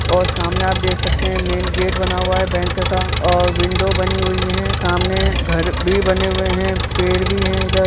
और सामने आप देख सकते है मैंन गेट बना हुआ और बैंक का और विंडो बनी हुई है और सामने घर भी बने हुए है पेड़ भी है इधर।